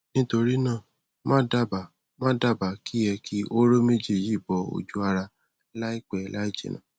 nítorí náà màá dábàá màá dábàá kí ẹ ki hóró méjì yìí bọ ọjú ara láìpẹ láì jìnà